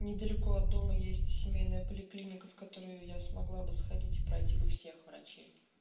недалеко от дома есть семейная поликлиника в которую я смогла бы сходить и пройти бы всех врачей